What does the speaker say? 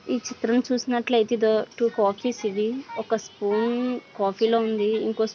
ఈ చిత్రం చూసినట్లయితే ఒక స్కూల్ కాఫీలో ఉంది ఇంకో స్కూల్ మార్క్